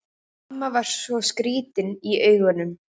Mamma var svo skrýtin í augunum.